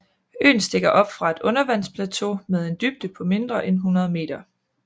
Øen stikker op fra et undervandsplateau med en dybde på mindre end 100 meter